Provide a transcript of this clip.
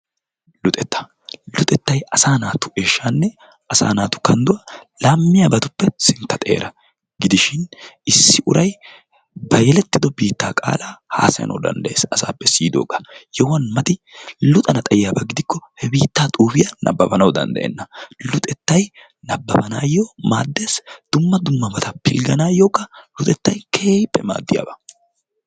Luxetta, Luxettay asaa naatu eeshanne kandduwa laamiyabatuppe sintta xeera gidishin issi uray ba yeletido biittaa qaalaa haasayanawu danddayees asaappe siiyidoogaa yohuwan mati luxana xayiaba gidikko he biittaa xuufiya nababbanawu danddayenna. Luxettay nabbabanaayo maaddees, dumma dummabata pilgganayokka Luxettay keehippe maaddiyaba.